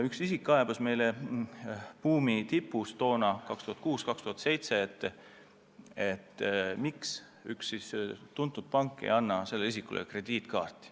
Üks isik kaebas meile buumi tipus 2006–2007, miks üks tuntud pank ei anna talle krediitkaarti.